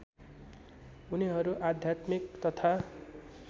उनीहरू आध्यात्मिक तथा